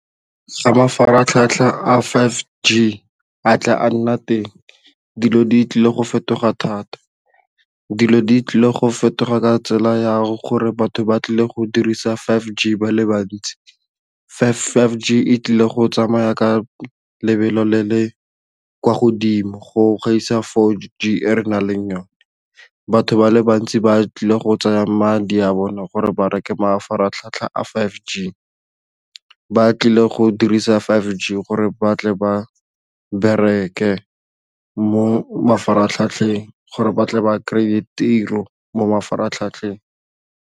Ga mafaratlhatlha a five G a tla a nna teng dilo di tlile go fetoga thata, dilo di tlile go fetoga ka tsela yago gore batho ba tlile go dirisa five G ba le bantsi. five G e tlile go tsamaya ka lebelo le le kwa godimo go gaisa four g e re nang le yone batho ba le bantsi ba tlile go tsaya madi a bone gore ba reke mafaratlhatlha a five g ba tlile go dirisa five g gore ba tle ba bereke mo mafaratlhatlheng gore batle ba kry-e tiro mo mafaratlhatlheng.